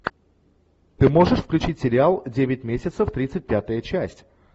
ты можешь включить сериал девять месяцев тридцать пятая часть